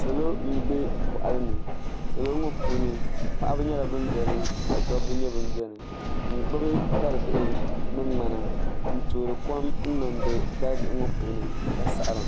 Salo n bɛ boɣali ni salo ŋo puuni paɣaba nyɛla bin biɛni ka dabba nyɛ bin biɛni n gbubi dalibihi ni ŋmana n toori kom niŋdi dalibihi ŋo puuni ka saɣara